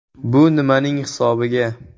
Bu nimaning hisobiga?